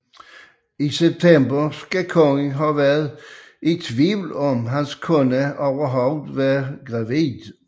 I september skal kongen have været i tvivl om hans kone overhovedet var gravid